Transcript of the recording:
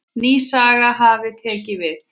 Ný saga hafi tekið við.